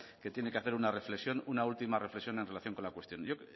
que tiene hacer una reflexión una última reflexión en relación con la cuestión